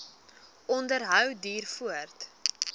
onderhou duur voort